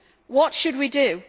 What should we do?